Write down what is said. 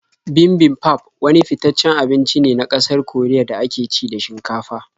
Bibimbap wani fitaccen abinci ne na ƙasar Koriya da ake ci da shinkafa.